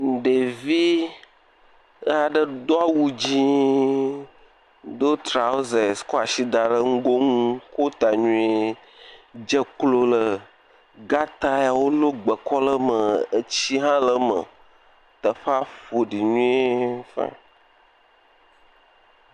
Ɖevi aɖe Do awu dzɛ, Do trɔsas kɔ asi da ɖe ŋgɔ nu, ko ta nyuie, dze klo ɖe gata yawo lɔ gbe kɔ ɖe eme, etsi hã le eme. Teƒea ƒoɖi nyuie fine.